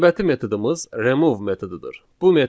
Növbəti metodumuz remove metodudur.